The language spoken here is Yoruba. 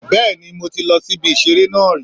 Bẹ́ẹ̀ni mo ti lọ sí ibi ìṣeré náà rí